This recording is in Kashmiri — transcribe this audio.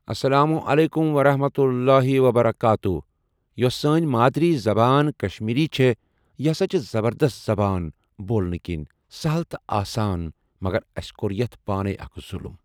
السلام عليكم ورحمة الله وبركاته یُس سٲنۍ مادوٗری زبان کشمیٖری چھےٚ یہِ ہسا چھےٚ زبردست زبان بولنہٕ کِنۍ سہل تہٕ آسان مگر اسہِ کوٚر یتھ پانے اکھ ظلُم۔